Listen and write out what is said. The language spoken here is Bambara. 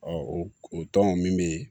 o tɔn min bɛ yen